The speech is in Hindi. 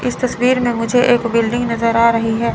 इस तस्वीर में मुझे एक बिल्डिंग नजर आ रही है।